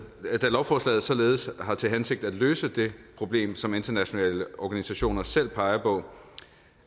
lovforslaget således har til hensigt at løse det problem som internationale organisationer selv peger på